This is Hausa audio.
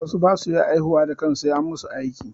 Wasu ba su iya haihuwa da kansu sai an masu aiki.